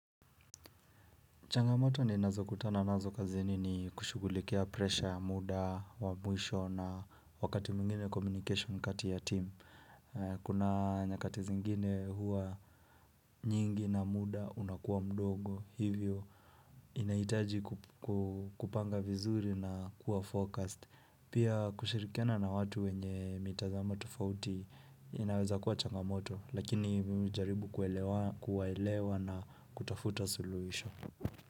Changamoto ninazokutana nazo kazini ni kushugulikia presha muda wa mwisho na wakati mingine communication kati ya team. Kuna nyakati zingine huwa nyingi na muda unakuwa mdogo hivyo. Inaitaji ku kupanga vizuri na kuwa focused. Pia kushirikiana na watu wenye mitazama tofauti inaweza kuwa changamoto lakini mimi hujaribu kuwelewa kuwaelewa na kutafuta suluhisho.